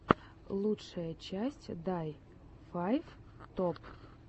лучшая часть дай файв топ